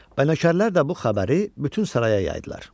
Nökərlər də bu xəbəri bütün saraya yaydılar.